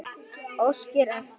Óskari eftir.